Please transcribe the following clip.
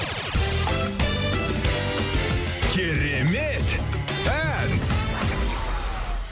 керемет ән